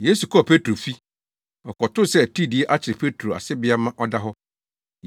Yesu kɔɔ Petro fi. Ɔkɔtoo sɛ atiridii akyere Petro asebea ma ɔda hɔ.